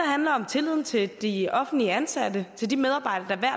handler om tilliden til de offentligt ansatte til de medarbejdere der hver